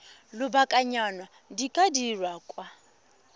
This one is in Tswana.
lobakanyana di ka dirwa kwa